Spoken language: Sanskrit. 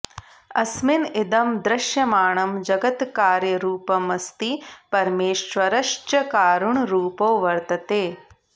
अस्मिन् इदं दृश्यमाणं जगत् कार्यरुपमस्ति परमेश्वरश्च् कारणरुपो वर्तते